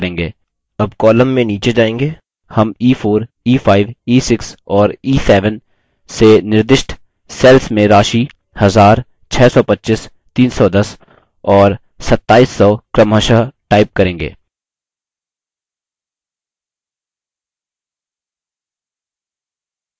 अब column में नीचे जाएँगे हम e4 e5 e6 और e7 से निर्दिष्ट सेल्स में राशि 1000 625 310 और 2700 क्रमशः type करेंगे